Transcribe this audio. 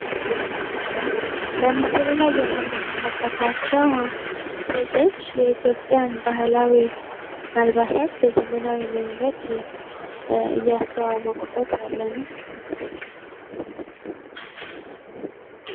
በምስሉ ላይ የምንመለከታቸው ሴቶች የኢትዮጵያን ባህላዊ አልባሳት በዘመናዊ መንገድ እያስተዋወቁበት ያለ ነው።